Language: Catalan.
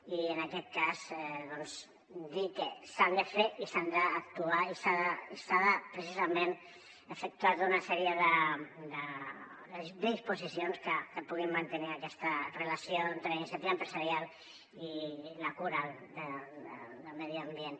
i en aquest cas doncs dir que s’ha d’actuar i s’han de precisament efectuar tota una sèrie de disposicions que puguin mantenir aquesta relació entre la iniciativa empresarial i la cura del medi ambient